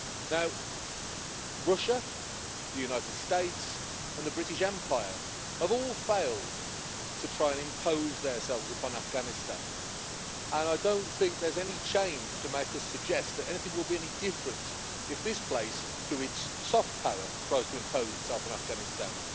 Now, Russia, the United States and the British Empire have all failed to try and impose themselves upon Afghanistan and I don't think there's any change to make us suggest that anything will be any different if this place through its soft power tries to impose itself on Afghanistan.